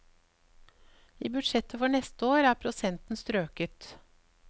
I budsjettet for neste år er prosenten strøket.